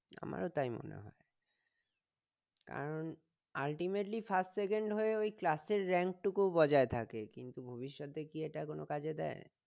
আমারও তাই মনে হয় কারণ ultimatelyfirstsecond হয়ে ওই class এর rank টুকু বজায় থাকে কিন্তু ভবিষ্যতে কি এটা কোনো কাজে দেয়?